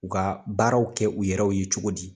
U ka baaraw kɛ u yɛrɛw ye cogo di